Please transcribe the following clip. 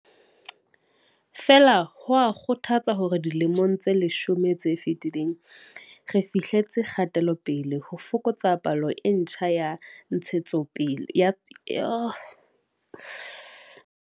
Feela, ho a kgothatsa hore dilemong tse leshome tse fetileng re fihletse kgate-lopele ho fokotseng palo e ntjha ya ditshwaetso ya.